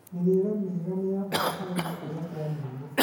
Mĩrĩre mĩega nĩ ya bata harĩ gũkũra kwa mwana